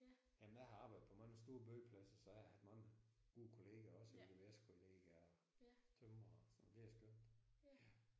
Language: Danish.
Jamen jeg har arbejdet på mange store byggepladser så jeg har haft mange gode kollegaer også VVS-kollegaer tømrer og sådan det er skønt